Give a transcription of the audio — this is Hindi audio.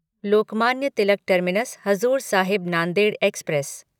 Lokmanya Tilak terminus Hazur Sahib Nanded express